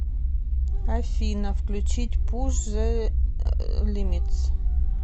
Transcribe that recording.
афина включить пуш зе лимитс